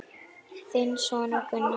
Þinn sonur, Gunnar.